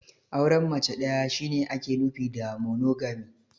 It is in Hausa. Auren mace ɗaya shi ne ake nufi da "Monogamy".